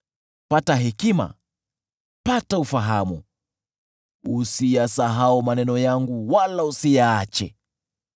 Pata hekima, pata ufahamu; usiyasahau maneno yangu wala usiyaache.